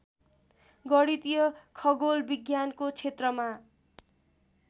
गणितीय खगोल विज्ञानको छेत्रमा